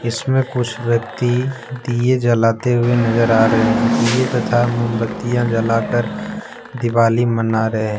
इसमें कुछ व्यक्ति दिए जलाते हुए नजर आ रहे हैं दिए तथा मोमबत्तियां जलाकर दिवाली मना रहे --